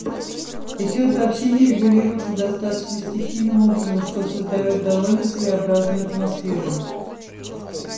и всё это общение регулируется достаточно стихийным образом что создаёт довольно своеобразную атмосферу